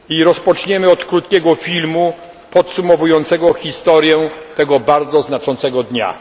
Rozpoczniemy od krótkiego filmu podsumowującego historię tego znaczącego dnia.